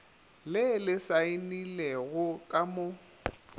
le le saenilego ka mo